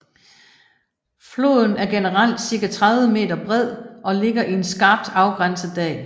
Floden er generelt cirka 30 m bred og ligger i en skarpt afgrænset dal